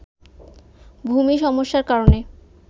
ভূমি সমস্যার কারণে